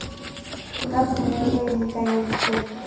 ka kuno e lekanyeditsweng e